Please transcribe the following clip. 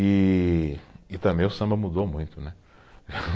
E, e também o samba mudou muito, né.